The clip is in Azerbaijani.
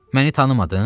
Məni tanımadın?